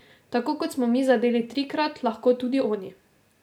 Tako kot smo mi zadeli trikrat, lahko tudi oni.